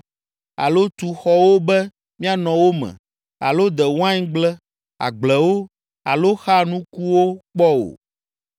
alo tu xɔwo be mianɔ wo me, alo de waingble, agblewo, alo xa nukuwo kpɔ o.